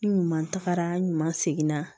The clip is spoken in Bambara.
Ni ɲuman tagara seginna